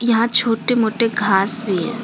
यहां छोटे मोटे घास भी है।